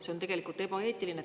See on tegelikult ebaeetiline.